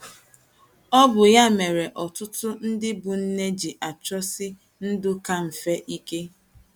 Ọ bụ ya mere ọtụtụ ndị bụ́ nne ji achọsi ndụ ka mfe ike.